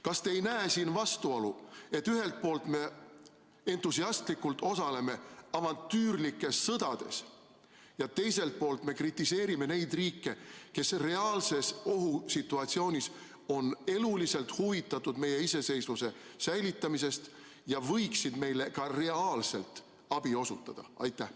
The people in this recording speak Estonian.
Kas te ei näe siin vastuolu, et ühelt poolt me entusiastlikult osaleme avantüürlikes sõdades ja teiselt poolt me kritiseerime neid riike, kes reaalses ohusituatsioonis on eluliselt huvitatud meie iseseisvuse säilitamisest ja võiksid meile ka reaalselt abi osutada?